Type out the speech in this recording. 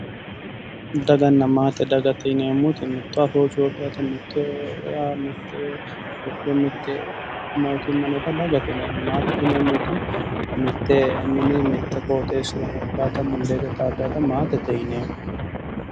Daganna maate dagate yineemmoti mitto afoo cooyiidhaata mitte wodho mitte mootimma noota dagate yineemmo. maatete yineemmoti mitte mini mitte qooxeessira heedhaata mundeete xaaddaata maatete yineemmo.